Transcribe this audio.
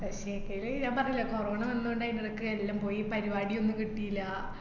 പക്ഷെങ്കില് ഞാൻ പറഞ്ഞില്ലേ കൊറോണ വന്നകൊണ്ടായ്ന്നു ഇതൊക്കെ എല്ലാം പോയി പരുപാടി ഒന്നും കിട്ടില്ല